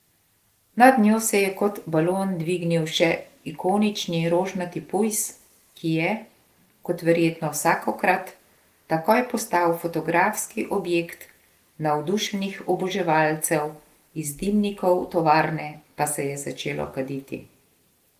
Nad njo se je kot balon dvignil še ikonični rožnati pujs, ki je, kot verjetno vsakokrat, takoj postal fotografski objekt navdušenih oboževalcev, iz dimnikov tovarne pa se je začelo kaditi.